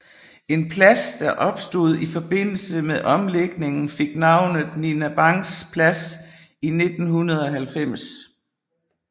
En plads der opstod i forbindelsen med omlægningen fik navnet Nina Bangs Plads i 1990